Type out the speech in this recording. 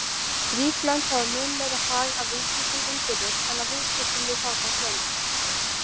Rík lönd hafa mun meiri hag af viðskiptum innbyrðis en af viðskiptum við fátæk lönd.